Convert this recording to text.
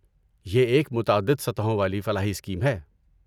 یہ ایک متعدد سطحوں والی فلاحی اسکیم ہے۔